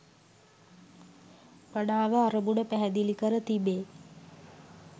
මනාව අරමුණ පැහැදිලි කර තිබේ